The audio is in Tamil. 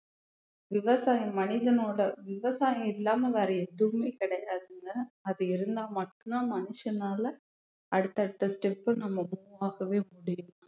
விவசாயம் மனிதனோட விவசாயம் இல்லாம வேற எதுவுமே கிடையாதுங்க அது இருந்தா மட்டும்தான் மனுஷனால அடுத்தடுத்த step நம்ம move ஆகவே முடியும்